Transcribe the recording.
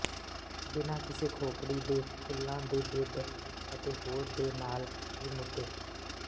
ਬਿਨਾਂ ਕਿਸੇ ਖੋਪੜੀ ਦੇ ਫੁੱਲਾਂ ਦੇ ਬਿੱਡ ਅਤੇ ਹੋਰ ਦੇ ਨਾਲ ਵੀ ਮੁੱਦੇ